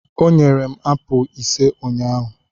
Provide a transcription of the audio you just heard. O nyere m apụl ise ụnyahụ.